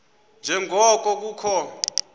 nje ngoko kukho